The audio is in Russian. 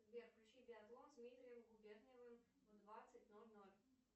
сбер включи биатлон с дмитрием губерниевым в двадцать ноль ноль